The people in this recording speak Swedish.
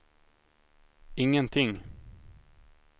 ingenting